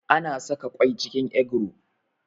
Ana saƙa kwai cikin egro